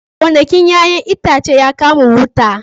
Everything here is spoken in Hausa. Gonakin 'ya'yan itacen ya kama wuta